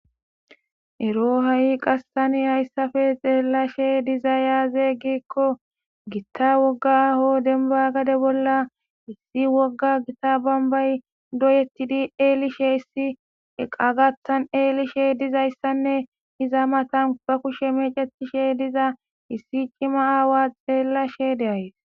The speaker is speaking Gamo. Ero qas ha'i tan hayisape gitta woga aho deniba gade bolla issi gitta woga bonibay doyetidi elish de'esane iza mata ba kushe mechetishediza issi cima awa xelashede'ays